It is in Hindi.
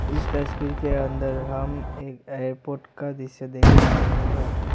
इस तस्वीर के अंदर हम एक एयरपोर्ट का दृश्य देख पा रहे हैं।